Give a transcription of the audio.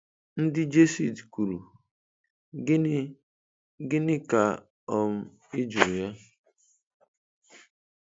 Ndị Jesuit kwuru, "Gịnị "Gịnị ka um ị jụrụ ya?"